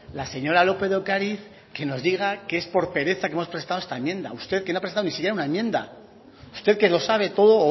la señora lópez de ocariz que nos diga que es por pereza que hemos presentado esta enmienda usted que nos presentado ni siquiera una enmienda usted que lo sabe todo o